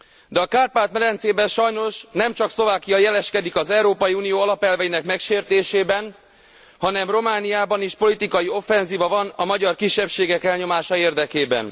De a Kárpát medencében sajnos nem csak Szlovákia jeleskedik az Európai Unió alapelveinek megsértésében, hanem Romániában is politikai offenzíva van a magyar kisebbségek elnyomása érdekében.